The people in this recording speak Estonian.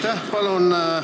Aitäh!